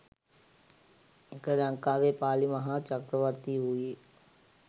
එකල ලංකාවේ පාලි මහා චක්‍රවර්ති වූයේ